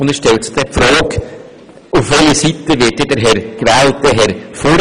Es stellt sich die Frage, auf welche Seite der gewählte Herr Furrer gezogen wird.